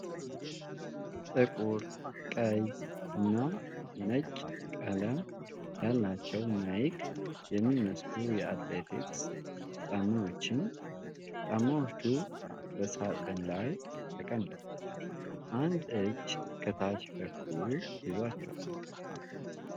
ጥቁር፣ ቀይ እና ነጭ ቀለም ያላቸው ናይክ የሚመስሉ የአትሌቲክስ ጫማዎችን ። ጫማዎቹ በሳጥን ላይ ተቀምጠው፣ አንድ እጅ ከታች በኩል ይዟቸዋል።